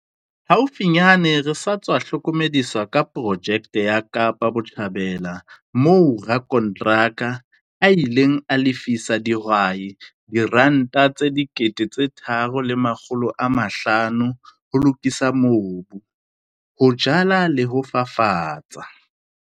Haufinyane re sa tswa hlokomediswa ka projeke ya Kaapa Botjhabela moo rakonteraka a ileng a lefisa dihwai R3 500 ho lokisa mobu, ho jala le ho fafatsa.